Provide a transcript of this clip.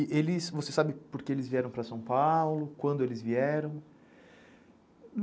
E eles, você sabe porque eles vieram para São Paulo, quando eles vieram?